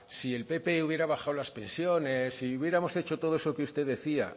si el pp hubiera bajado las pensiones si hubiéramos hecho todo eso que usted decía